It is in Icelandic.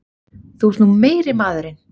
Þú ert nú meiri maðurinn!